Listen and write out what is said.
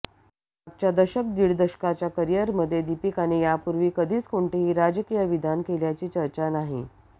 मागच्या दशक दीड दशकाच्या करिअरमध्ये दीपिकाने यापूर्वी कधीच कोणतेही राजकीय विधान केल्याची चर्चा नाही